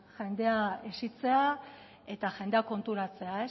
jendea hezitzea eta jendea konturatzea